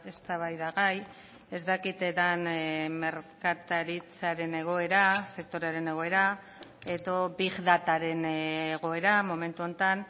eztabaidagai ez dakit den merkataritzaren egoera sektorearen egoera edo big dataren egoera momentu honetan